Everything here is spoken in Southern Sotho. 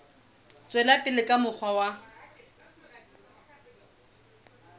tswela pele ka mokgwa wa